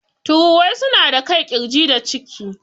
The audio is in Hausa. Tururuwai suna da kai, ƙirji da ciki.